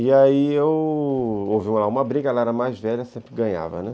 E aí eu... houve uma briga, ela era mais velha, sempre ganhava, né.